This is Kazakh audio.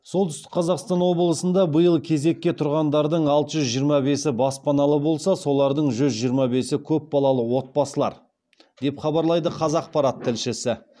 солтүстік қазақстан облысында биыл кезекке тұрғандардың алты жүз жиырма бесі баспаналы болса солардың жүз жиырма бесі көпбалалы отбасылар деп хабарлайды қазақпарат тілшісі